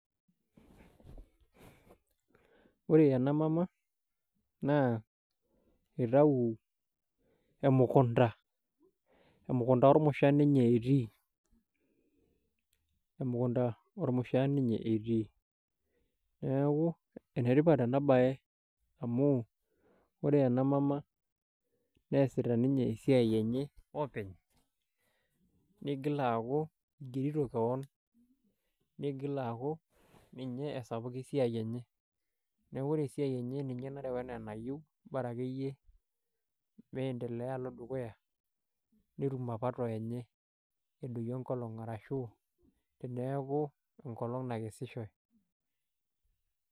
Ore ena mama naa itau emukunta, emukunta ormushaa ninye etii, emukunta ormushaa ninye etii. Niaku ene tipat ena bae amu ore ena mama neasita ninye esiai enye openy, nigil aaku igerito kewon, nigil aaku ninye esapuk esiai enye. Niaku ore esiai enye, ninye nareu enaa enayieu, bora akeyie maendeleo alo dukuya netum mapato enye edoyio enkolong' arashu teneaku enkolong' nakesishoe.